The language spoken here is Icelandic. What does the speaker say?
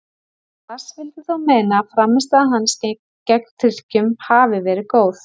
Lars vildi þó meina að frammistaða hans gegn Tyrkjum hafi verið góð.